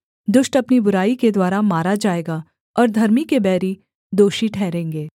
दुष्ट अपनी बुराई के द्वारा मारा जाएगा और धर्मी के बैरी दोषी ठहरेंगे